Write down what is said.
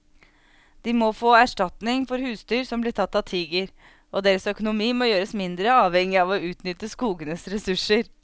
De må få erstatning for husdyr som blir tatt av tiger, og deres økonomi må gjøres mindre avhengig av å utnytte skogenes ressurser.